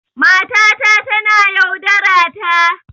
Matata tana yaudarata.